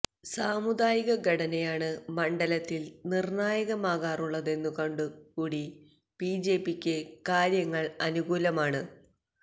സാമുദായിക ഘടനയാണ് മണ്ഡലത്തില് നിര്ണായാകമാകാറുള്ളതെന്നു കൊണ്ടു കൂടി ബിജെപിക്ക് കാര്യങ്ങള് അനുകൂലമാണ്